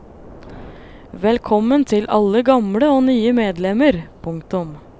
Velkommen til alle gamle og nye medlemmer. punktum